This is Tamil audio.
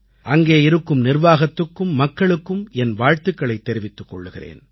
அங்கே இருக்கும் நிர்வாகத்துக்கும் மக்களுக்கும் என் வாழ்த்துக்களைத் தெரிவித்துக் கொள்கிறேன்